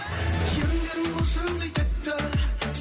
еріндерің бал шырындай тәтті